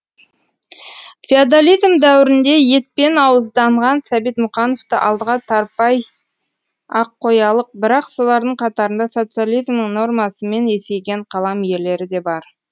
феодализм дәуірінде етпен ауызданған сәбит мұқановты алдыға тарпай ақ қоялық бірақ солардың қатарында социализмның нормасымен есейген қалам иелері де бар